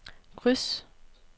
kryds